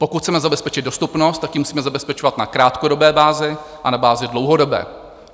Pokud chceme zabezpečit dostupnost, tak ji musíme zabezpečovat na krátkodobé bázi a na bázi dlouhodobé.